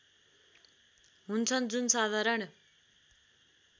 हुन्छन् जुन साधारण